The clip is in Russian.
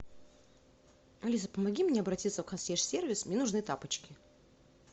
алиса помоги мне обратиться в консьерж сервис мне нужны тапочки